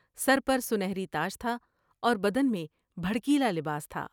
سر پر سنہری تاج تھا اور بدن میں بھڑ کیلا لباس تھا ۔